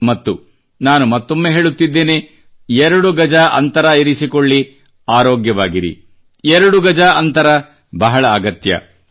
ಮತ್ತು ನಾನು ಮತ್ತೊಮ್ಮೆ ಹೇಳುತ್ತಿದ್ದೇನೆ ಎರಡು ಗಜ ಅಂತರ ಇರಿಸಿಕೊಳ್ಳಿ ಆರೋಗ್ಯವಾಗಿರಿ ಎರಡು ಗಜ ಅಂತರ ಬಹಳ ಅಗತ್ಯ दोगजदूरी बहुतहैज़रूरी